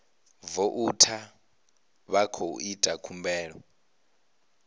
voutha vha khou ita khumbelo